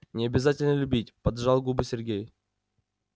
не обязательно любить поджал губы сергей